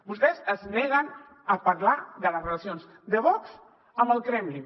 vostès es neguen a parlar de les relacions de vox amb el kremlin